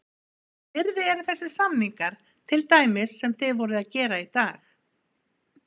Hvers virði eru þessir samningar, til dæmis sem þið voruð að gera í dag?